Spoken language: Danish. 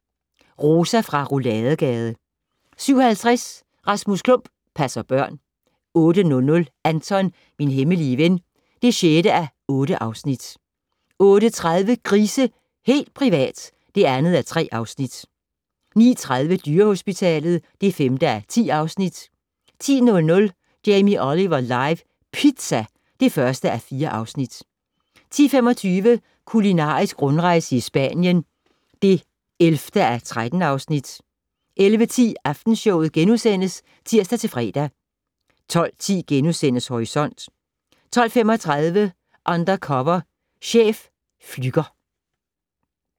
07:00: Rosa fra Rouladegade 07:50: Rasmus Klump - passer børn 08:00: Anton - min hemmelige ven (6:8) 08:30: Grise - helt privat! (2:3) 09:30: Dyrehospitalet (5:10) 10:00: Jamie Oliver live - pizza (1:4) 10:25: Kulinarisk rundrejse i Spanien (11:13) 11:10: Aftenshowet *(tir-fre) 12:10: Horisont * 12:35: Undercover chef - Flügger